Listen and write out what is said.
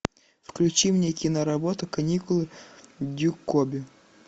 включи мне киноработу каникулы дюкобю